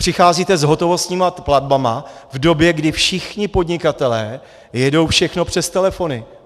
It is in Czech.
Přicházíte s hotovostními platbami v době, kdy všichni podnikatelé jedou všechno přes telefony.